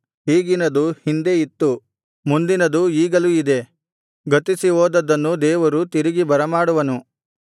ಈಗಿನದು ಹಿಂದೆ ಇತ್ತು ಮುಂದಿನದು ಈಗಲೂ ಇದೆ ಗತಿಸಿ ಹೋದದ್ದನ್ನು ದೇವರು ತಿರುಗಿ ಬರಮಾಡುವನು